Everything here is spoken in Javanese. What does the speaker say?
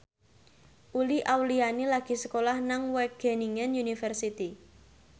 Uli Auliani lagi sekolah nang Wageningen University